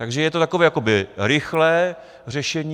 Takže je to takové jakoby rychlé řešení.